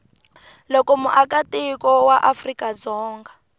loko muakatiko wa afrika dzonga